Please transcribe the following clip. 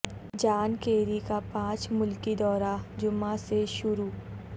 جان Kerry کا پانچ ملکی دورہ جمعہ سے شروع